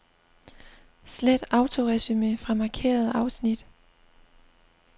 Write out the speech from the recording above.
Slet autoresumé fra markerede afsnit.